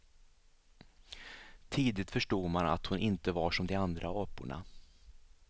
Tidigt förstod man att hon inte var som de andra aporna.